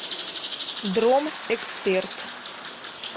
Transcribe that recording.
дром эксперт